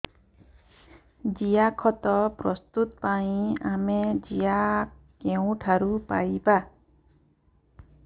ଜିଆଖତ ପ୍ରସ୍ତୁତ ପାଇଁ ଆମେ ଜିଆ କେଉଁଠାରୁ ପାଈବା